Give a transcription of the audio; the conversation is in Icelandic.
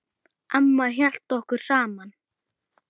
Amma hélt okkur saman.